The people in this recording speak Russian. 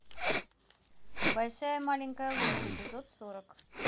большая маленькая ложь эпизод сорок